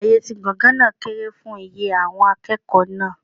Ààyè ti gbọ̀ngàn náà kéré fún iye àwọn akẹ́kọ̀ọ́ náà.